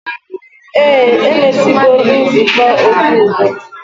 Eh, emesigo nzukọ okwu udo